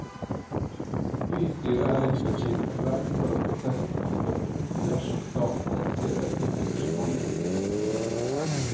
Bystyret er imidlertid redd for at prosessen kan stoppe opp dersom staten reduserer sitt engasjement i byfornyelsen.